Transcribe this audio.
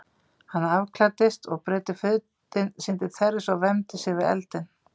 Hann afklæddist og breiddi fötin sín til þerris og vermdi sig við eldinn.